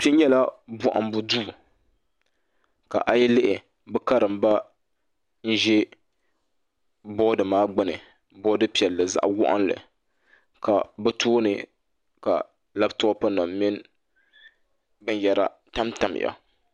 Kpɛ nyɛla bohambu duu ka a yi lihi bi karimba n ʒɛ bood maa gbuni boodi piɛlli zaɣ waɣanli ka bi tooni labtop nim mini binyɛra tamtamya